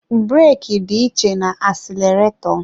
Breeki dị iche na-asileretọ.